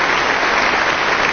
Vielen Dank, meine